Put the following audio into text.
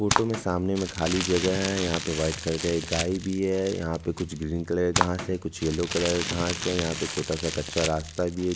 Photo में सामने में खाली जगह है यहाँ पे व्हाइट कलर का एक गाय भी है यहाँ पे कुछ ग्रीन कलर का घांस है कुछ येलो कलर का घांस है यहाँ पे छोटा सा कच्चा रास्ता भी है।